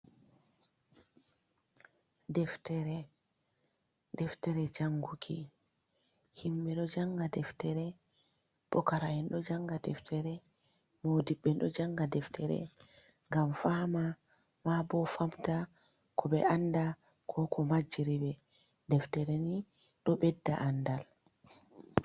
Deftere Janguki: Himɓe ɗo janga deftere, pukara'en ɗo janga deftere, modiɓɓe ɗo janga deftere ngam fama ma bo famta ko ɓe anda ko ko majiriɓe. Deftere ni ɗo ɓedda andal.